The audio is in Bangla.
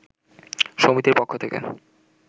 সমিতির পক্ষ থেকে